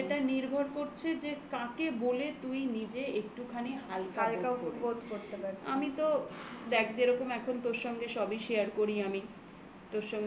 একদমই সেটা নির্ভর করছে যে কাকে বলে তুই নিজে একটুখানি হালকা হালকা বোধ করতে পারছিস. আমি তো দেখ যেরকম এখন তোর সঙ্গে সবই share করি আমি